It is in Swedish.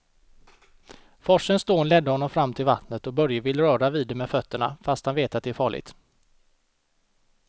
Forsens dån leder honom fram till vattnet och Börje vill röra vid det med fötterna, fast han vet att det är farligt.